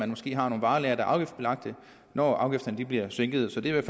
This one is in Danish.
måske har nogle varelagre der er afgiftsbelagte når afgifterne bliver sænket så det er i